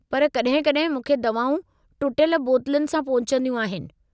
पर कॾहिं कॾहिं मूंखे दवाऊं टुटियलु बोतलुनि सां पहुचंदियूं आहिनि।